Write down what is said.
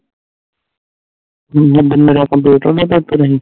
ਦੁਨੀਆ ਦਿਨ ਰਾਤ computer ਦੇ ਘਰ ਤੋਂ ਰਹੀ